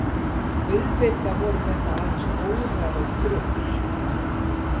Auðvitað voru þetta aðeins órar og þrugl.